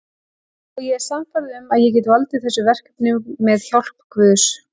Og ég er sannfærð um að ég get valdið þessu verkefni með hjálp guðs.